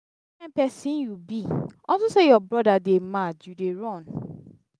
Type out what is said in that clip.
which kin person you be?unto say your brother dey mad you dey run.